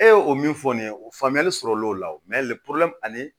E ye o min fɔ nin ye o faamuyali sɔrɔ l'o la ani